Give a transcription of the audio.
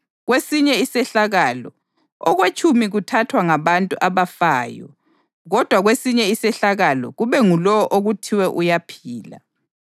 Kwesinye isehlakalo, okwetshumi kuthathwa ngabantu abafayo kodwa kwesinye isehlakalo kube ngulowo okuthiwe uyaphila.